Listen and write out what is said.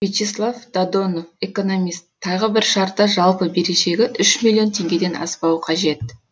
вячеслав додонов экономист тағы бір шарты жалпы берешегі үш миллион тенгеден аспауы қажет